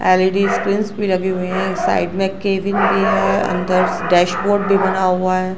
L E D screens भी लगी हुई है। साइड में केविन की है अंदर डैशबोर्ड भी बना हुआ है।